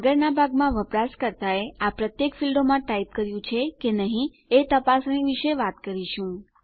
આગળનાં ભાગમાં વપરાશકર્તાએ આ પ્રત્યેક ફીલ્ડોમાં ટાઈપ કર્યું છે કે નહી એ તપાસણી વિશે વાત કરીશું